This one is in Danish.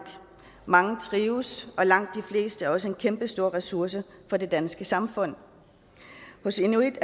mange trives og langt de fleste er også en kæmpestor ressource for det danske samfund hos inuit